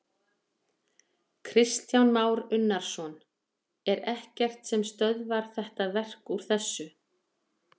Kristján Már Unnarsson: Er ekkert sem stöðvar þetta verk úr þessu?